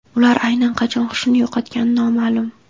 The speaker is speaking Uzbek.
Ular aynan qachon xushini yo‘qotgani noma’lum.